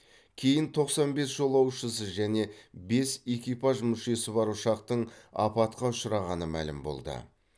кейін тоқсан бес жолаушысы және бес экипаж мүшесі бар ұшақтың апатқа ұшырағаны мәлім болды